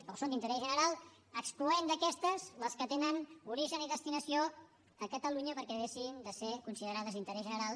o són d’interès general excloent d’aquestes les que tenen origen i destinació a catalunya perquè deixin de ser considerades d’interès general